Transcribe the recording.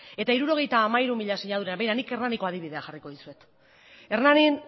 eta hirurogeita hamairu mila sinadura begira nik hernanik adibidea jarriko dizuet hernanin